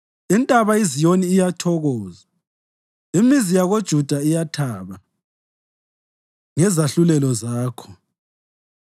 Intaba iZiyoni iyathokoza, imizi yakoJuda iyathaba ngezahlulelo zakho.